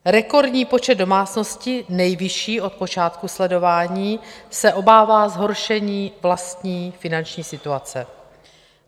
Rekordní počet domácnosti, nejvyšší od počátku sledování, se obává zhoršení vlastní finanční situace.